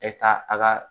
E ka a ka